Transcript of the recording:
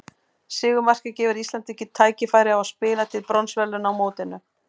Sigurmarkið gefur Íslandi tækifæri á að spila til bronsverðlauna á mótinu.